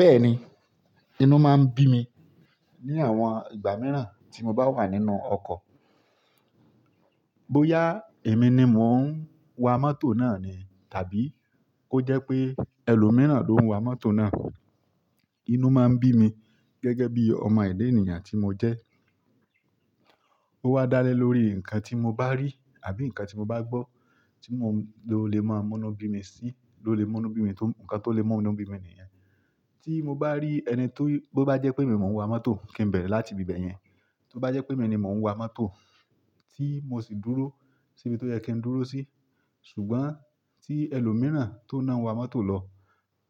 Bẹ́ẹ̀ni, inú máa ń bí mi ní àwọn ìgbà mìíràn tí mo bá wà nínú ọkọ̀. Bóyá èmi ni mò ń wa mọtò náà ni tàbí ó jẹ́ pé ẹlòmíràn ló ń wa mọ́tò náà, inú máa ń bí mi gẹ́gẹ́ bí ọmọ èdè ènìyàn tí mo jẹ́. Ó wá dá lé lórí nǹkan tí mo bá rí àbí nǹkan tí mo bá gbọ́ tí mo lè mọ́ inú bí mi sí, ló lè mọ́ inú bí mi, nǹkan tó lè mọ́ inú bí mi nìyẹn. Tí mo bá rí ẹni tó, bó bá jẹ́ pé èmi mò ń wa mọ́tò kí n bẹ̀rẹ̀ láti ibẹ̀ yẹn. Tí ó bá jẹ́ pé èmi ni mò ń wa mọ́tò tí mo sì dúró síbi tó yẹ kí n dúró sí, ṣùgbọ́n tí ẹlòmíràn tó náà ń wa mọ́tò lọ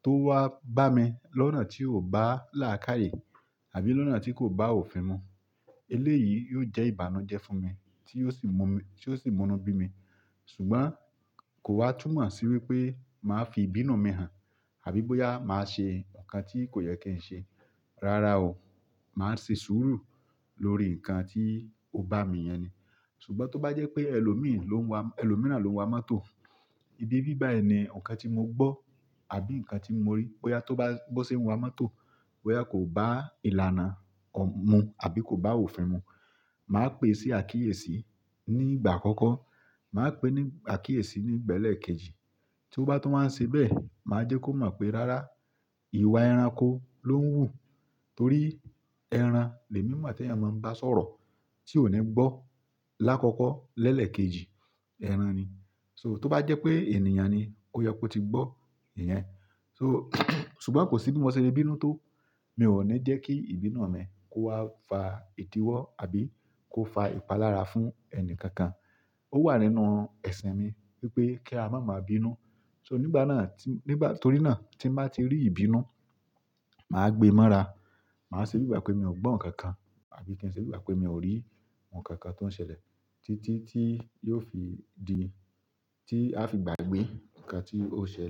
tó wá bá mi lọ́nà tí ò bá làákàyè àbí lọ́nà tí kò bá òfin mu. Eléyìí yóò jẹ́ ìbànújẹ́ fún mi tí yóò sì mú mi, tí yóò sì mu inú bí mi. Ṣùgbọ́n kò wá túmọ̀ sí wípé màá fi ìbínú mi hàn àbí bóyá màá ṣe nǹkan tí kò yẹ kí ń ṣe. Rárá o, màá se sùúrù lórí nǹkan tí ó bá mi yẹn ni. Ṣùgbọ́n tó bá jẹ́ pé ẹlòmí ló ń wa, ẹlòmíràn ló ń wa mọ́tò, ibi bíbáyi ni okan tí mo gbọ́ àbí nǹkan tí mo rí bóyá tó bá, bó ṣe ń wa mọ́tò, bóyá kò bá ìlànà mu àbí kò bá òfin mu. Màá pè sí àkíyèsí ní ìgbà àkọ́kọ́, màá pè ní àkíyèsí ní ìgbà ìgbà elekejì. Tí ó bá tún wá ṣe bẹ́ẹ̀, màá jẹ́ kó mọ̀ pé rárá, ìwà ẹranko ló ń wù torí ẹran lè mímọ̀ àti ẹ́yà máa ń bá sọ̀rọ̀ tí òní gbọ́ lákọ̀kọ̀ lẹ́lẹ̀ kejì, ẹran ni. So tó bá jẹ́ pé ènìyàn ni, ó yẹ kó ti gbọ́ ìyẹn. So, ṣùgbọ́n kò sí bí mo ṣe lè bínú tó, mi ò ní jẹ́ kí ìbínú mi kó wá fa ìdíwọ́ àbí kó fa ìpalára fún ẹni kankan. Ó wà nínú ẹ̀sìn mi wípé kí a má máa bínú. So nígbà náà tí, nígbà, torí náà tí màá ti rí ìbínú, màá gbe mọ́ra, màá ṣe bí bà pé mi ò gbọ́ nǹkan kan àbí kí n ṣe bí bà pé mi ò rí nkankan tó ń ṣẹlẹ̀ títí tí yóò fi di, tí a fi gbàgbé nǹkan tí ó ṣẹlẹ̀.